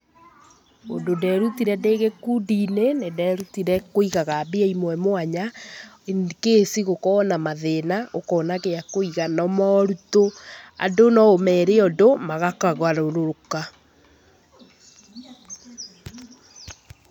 Ũndũ nderutire ndĩ gĩkundi-inĩ, nĩnderutire kũigaga mbia imwe mwanya in case gũkorwo na mathĩna ukona gĩa kũiga. Na moritũ, andũ no ũmere ũndũ magakũgarũrũka.